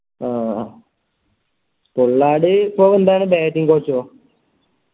അഹ് Pollard ഇപ്പൊ എന്താണ് Bating coach ഓ